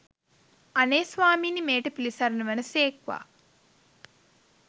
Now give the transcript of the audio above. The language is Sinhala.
අනේ ස්වාමීනී මෙයට පිළිසරණ වන සේක්වා!